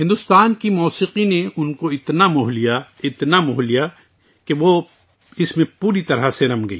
بھارت کی موسیقی نے اسے اتنا متاثر کیا اتنا کہ وہ اس میں پوری طرح ڈوب گئی